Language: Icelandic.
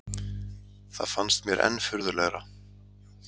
Það fannst mér enn furðulegra